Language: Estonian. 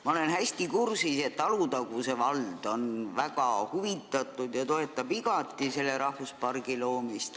Ma olen hästi kursis, et Alutaguse vald on väga huvitatud ja toetab igati selle rahvuspargi loomist.